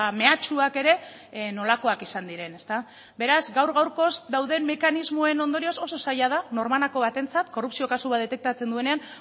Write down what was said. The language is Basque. meatsuak ere nolakoak izan diren beraz gaur gaurkoz dauden mekanismoen ondorioz oso zaila da norbanako batentzat korrupzio kasu bat detektatzen duenean